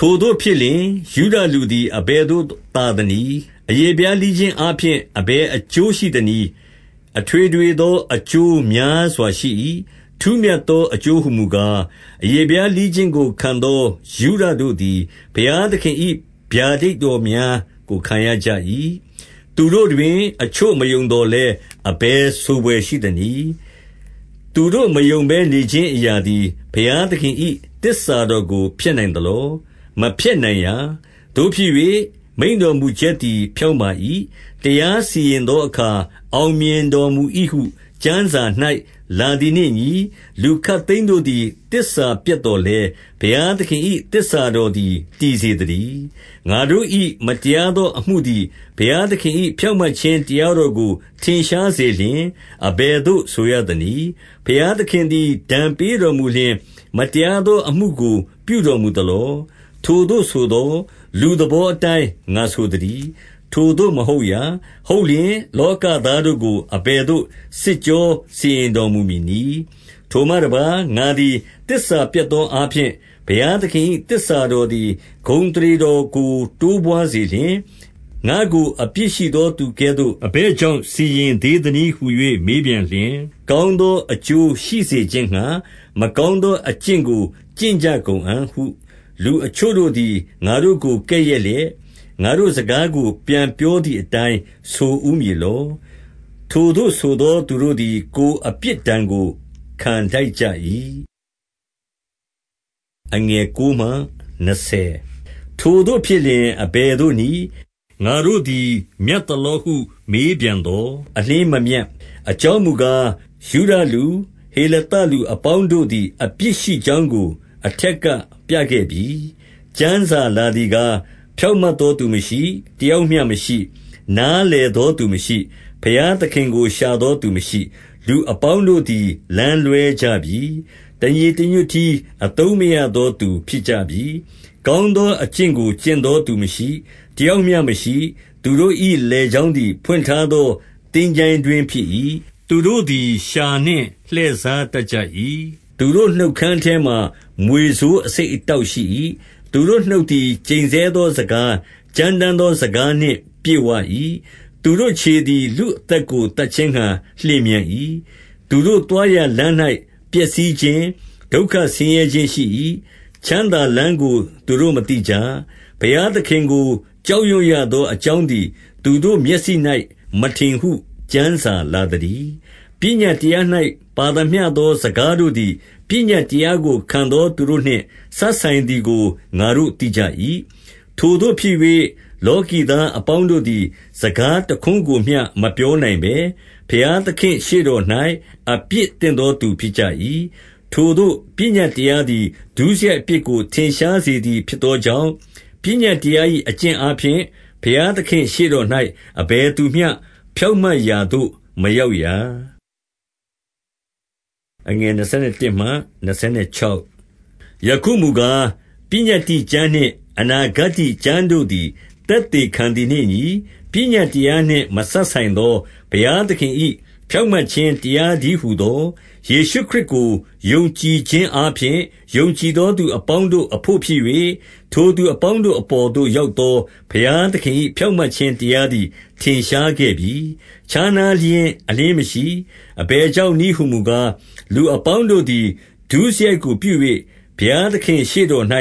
ထိုသို့ဖြစ်လျှင်၊ ယုဒလူသည်အဘယ်သို့သာသနည်း။ အရေဖျား လှီးခြင်းအားဖြင့် အဘယ်အကျိုး ရှိသနည်း။ 2 အထွေထွေသော အကျိုးများစွာရှိ၏။ ထူးမြတ်သော အကျိုးဟူမူကား၊ အရေဖျားလှီးခြင်းကို ခံသော ယုဒတို့သည် ဘုရားသခင်၏ ဗျာဒိတ်တော်များကို ခံရကြ၏။ 3 သူတို့တွင် အချို့မယုံသော်လည်း၊ အဘယ်ဆိုဘွယ်ရှိသနည်း။ သူတို့မယုံဘဲနေခြင်းအရာသည် ဘုရားသခင်၏သစ္စာတော်ကို ဖျက်နိုင်သလော။ 4 မဖျက်နိုင်ရာ။ သို့ဖြစ်၍မိန့်တော်မူချက်သည် ဖြောင့်ပါ၏။ တရားစီရင်သောအခါ အောင်မြင်တော်မူ၏ ဟု ကျမ်းစာ၌လာသည်နှင့်အညီ၊ လူခပ်သိမ်းတို့သည် သစ္စာပျက်သော်လည်း၊ ဘုရားသခင်၏ သစ္စာတော်သည် တည်စေသတည်း။ 5 ငါတို့၏ မတရားသောအမှုသည် ဘုရားသခင်၏ ဖြောင့်မတ်ခြင်းတရားတော်ကို ထင်ရှားစေလျှင်၊ အဘယ် သို့ဆိုရသနည်း။ ဘုရားသခင်သည် ဒဏ်ပေးတော်မူလျှင်၊ မတရားသောအမှုကို ပြုတော်မူသလော။ ထိုသို့ဆိုသော် လူသဘောအတိုင်း ငါဆိုသတည်း။ 6 ထိုသို့မဟုတ်ရာ။ ဟုတ်လျှင်လောကသားတို့ကို အဘယ်သို့ စစ်ကြောစီရင်တော်မူမည်နည်း။ 7 ထိုမှတပါးငါသည် သစ္စာပျက်သောအားဖြင့် ဘုရားသခင်၏ သစ္စာတော်သည် ဂုဏ်အသရေတော်ကို တိုးပွါးစေလျှင်၊ ငါ့ကို အပြစ်ရှိသောသူကဲ့သို့ အဘယ်ကြောင့် စီရင်သေးသနည်းဟူ၍ မေးပြန်လျှင်၊ 8 ကောင်းသောအကျိုးရှိစေခြင်းငှါ မကောင်းသော အကျင့်ကို ကျင့်ကြကုန်အံ့ဟု လူအချို့တို့သည် ငါတို့ကို ကဲ့ရဲ့လျက်၊ ငါတို့စကား ကိုပြန်ပြောသည်အတိုင်း ဆိုဦးမည်လော။ ထိုသို့ဆိုသောသူတို့သည် ကိုယ်အပြစ် ဒဏ်ကို ခံထိုက်ကြ၏။ 9 ထိုသို့ဖြစ်လျှင် အဘယ်သို့နည်း။ ငါတို့သည် မြတ်သလောဟု မေးပြန်သော်။ အလျှင်းမမြတ်။ အကြောင်းမူကား၊ ယုဒလူ၊ ဟေလသလူအပေါင်းတို့သည် အပြစ်ရှိကြောင်းကို အထက်ပြခဲ့ပြီ။ 10 ကျမ်းစာလာသည်ကား၊ ဖြောင့်မတ်သောသူမရှိ၊ တယောက်မျှမရှိ။ 11 နားလည်သောသူမရှိ၊ ဘုရားသခင်ကို ရှာသော သူမရှိ။ 12 လူအပေါင်းတို့သည် လမ်းလွဲကြပြီ။ တညီတညွတ်တည်း အသုံးမရသောသူဖြစ်ကြပြီ။ ကောင်းသော အကျင့်ကို ကျင့်သောသူမရှိ၊ တယောက်မျှမရှိ။ 13 သူတို့၏လည်ချောင်းသည် ဖွင့်ထားသော သင်္ချိုင်းတွင်းဖြစ်၏။ သူတို့သည်လျှာနှင့် လှည့်စားတတ် ကြ၏။ သူတို့နှုတ်ခမ်းအထဲမှာ မြွေဆိုး အဆိပ် အတောက်ရှိ၏။ 14 သူတို့နှုတ်သည် ကျိန်ဆဲသောစကား၊ ကြမ်းတမ်းသောစကားနှင့် ပြည့်ဝ၏။ 15 သူတို့ခြေသည်လူအသက်ကို သတ်ခြင်းငှါ လျင်မြန်၏။ 16 သူတို့သွားရာလမ်း၌ ပျက်စီးခြင်း၊ ဒုက္ခ ဆင်းရဲခြင်းရှိ၏။ 17 ချမ်းသာလမ်းကိုသူတို့မသိကြ။ 18 ဘုရားသခင်ကို ကြောက်ရွံ့ရသော အကြောင်း သည် သူတို့မျက်စိ၌ မထင်ဟုကျမ်းစာလာသတည်း။ 19 ပညတ်တရား၌ ပါသမျှသောစကားတို့သည် ပညတ်တရားကို ခံသောသူတို့နှင့် စပ်ဆိုင်သည်ကို ငါတို့ သိကြ၏။ ထိုသို့ဖြစ်၍၊ လောကီသားအပေါင်းတို့သည် စကားတခွန်းကိုမျှ မပြောနိုင်ဘဲ ဘုရားသခင့် ရှေ့တော်၌ အပြစ်တင်သောသူဖြစ်ကြ၏။ 20 ထိုသို့ပညတ်တရားသည် ဒုစရိုက်အပြစ်ကို ထင်ရှားစေသည်ဖြစ်သောကြောင့်၊ ပညတ်တရား၏ အကျင့်အားဖြင့် ဘုရားသခင့်ရှေ့တော်၌ အဘယ်သူမျှ ဖြောင့်မတ်ရာသို့ မရောက်ရာ။ 21 ယခုမူကား၊ ပညတ္တိကျမ်းနှင့် အနာဂတ္တိကျမ်း တို့သည် သက်သေခံသည်နှင့်အညီ၊ ပညတ်တရားနှင့် မစပ်ဆိုင်သော ဘုရားသခင်၏ ဖြောင့်မတ်ခြင်းတရားတည်းဟူသော၊ 22 ယေရှုခရစ်ကို ယုံကြည်ခြင်းအားဖြင့်၊ ယုံကြည်သောသူအပေါင်းတို့အဘို့ဖြစ်၍၊ ထိုသူအပေါင်းတို့ အပေါ်သို့ရောက်သော ဘုရားသခင်၏ ဖြောင့်မတ်ခြင်း တရားသည် ထင်ရှားခဲ့ပြီ။ ခြားနားခြင်းအလျှင်းမရှိ။ 23 အဘယ်ကြောင့်နည်းဟူမူကား၊ လူအပေါင်းတို့သည် ဒုစရိုက်ကို ပြု၍ဘုရားသခင်ရှေ့တော်၌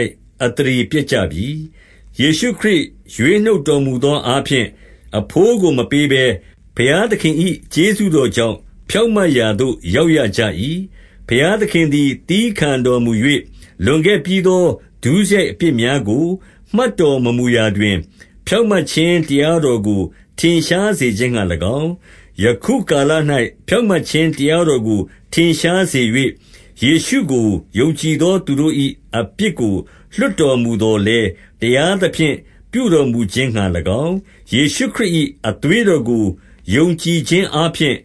အသရေ ပျက်ကြပြီ။ 24 ယေရှုခရစ်ရွေးနှုတ်တော်မူသောအားဖြင့် အဘိုးကို မပေးဘဲ ဘုရားသခင်၏ ကျေးဇူးတော်ကြောင့် ဖြောင့်မတ်ရာသို့ ရောက်ရကြ၏။ 25 ဘုရားသခင်သည် သည်းခံတော်မူ၍၊ 26 လွန်ခဲ့ပြီးသောဒုစရိုက်အပြစ်များကို မှတ်တော် မမူရာတွင်၊ ဖြောင့်မတ်ခြင်းတရားတော်ကို ထင်ရှားစေ ခြင်းငှါ၎င်း၊ ယခုကာလ၌ ဖြောင့်မတ်ခြင်းတရားတော်ကို ထင်ရှားစေ၍၊ ယေရှုကိုယုံကြည်သော သူတို့၏အပြစ်ကို လွှတ်တော်မူသော်လည်း၊ တရားသဖြင့် ပြုတော်မူခြင်းငှါ၎င်း၊ ယေရှုခရစ်၏အသွေးတော်ကို ယုံကြည်ခြင်း အားဖြင့်၊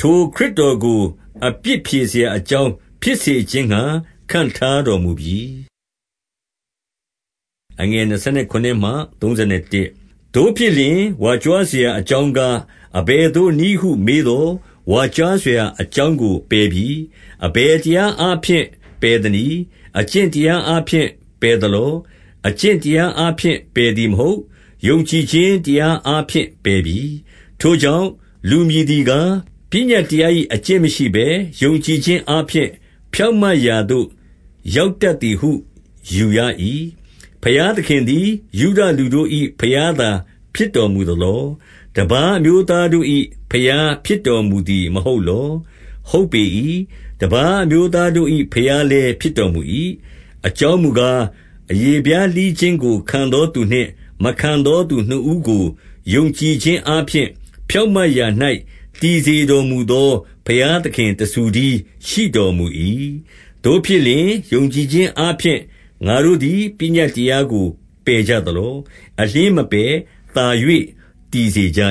ထိုခရစ်တော်ကို အပြစ်ဖြေစရာအကြောင်း ဖြစ်စေခြင်းငှါ ခန့်ထားတော်မူပြီ။ 27 သို့ဖြစ်လျှင် ဝါကြွားစရာ အကြောင်းကား အဘယ်သို့နည်းဟု မေးသော်၊ ဝါကြွားစရာအကြောင်းကို ပယ်ပြီးအဘယ်တရားအားဖြင့် ပယ်သနည်း။ အကျင့် တရားအားဖြင့် ပယ်သလော။ အကျင့်တရားအားဖြင့် ပယ်သည်မဟုတ်။ ယုံကြည်ခြင်းတရားအားဖြင့် ပယ်ပြီ။ 28 ထိုကြောင့်လူမည်သည်ကား၊ ပညတ်တရား၏ အကျင့်မရှိဘဲ ယုံကြည်ခြင်းအားဖြင့် ဖြောင့်မတ်ရာသို့ ရောက်တတ်သည်ဟုယူရ၏။ 29 ဘုရားသခင်သည် ယုဒလူတို့၏ ဘုရားသာ ဖြစ်တော်မူသလော။ တပါးအမျိုးသားတို့၏ ဘုရားဖြစ် တော်မူသည်မဟုတ်လော။ ဟုတ်ပေ၏။ တပါးအမျိုးသား တို့၏ ဘုရားလည်း ဖြစ်တော်မူ၏။ 30 အကြောင်းမူကား၊ အရေဖျားလှီးခြင်းကို ခံသောသူနှင့် မခံသော သူနှစ်ဦးကိုယုံကြည်ခြင်းအားဖြင့် ဖြောင့်မတ်ရာ၌တည်စေတော်မူသော ဘုရားသခင်တဆူတည်း ရှိတော်မူ၏။ 31 သို့ဖြစ်လျှင်၊ ယုံကြည်ခြင်းအားဖြင့်ငါတို့သည် ပညတ်တရားကို ပယ်ကြသလော။ အလျှင်းမပယ်၊ သာ၍ တည်စေကြ